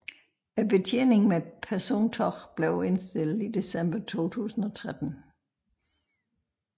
Betjeningen med persontog blev indstillet i december 2013